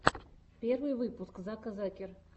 первый выпуск зака закер